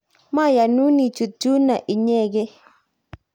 mayonun ichut yuno inyegei